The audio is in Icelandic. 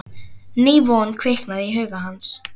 Ný von kviknaði í huga hans.